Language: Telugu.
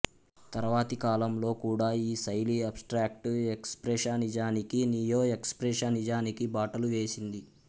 తర్వాతి కాలం లో కూడా ఈ శైలి అబ్స్ట్రాక్ట్ ఎక్స్ప్రెషనిజానికి నియో ఎక్స్ప్రెషనిజానికి బాటలు వేసింది